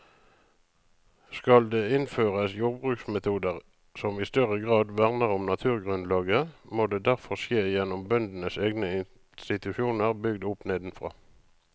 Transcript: Skal det innføres jordbruksmetoder som i større grad verner om naturgrunnlaget, må det derfor skje gjennom bøndenes egne institusjoner bygd opp nedenfra.